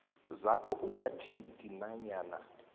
zakho ungathinti nanyana